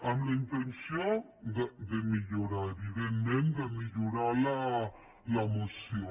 amb la intenció de millorar evidentment de millorar la moció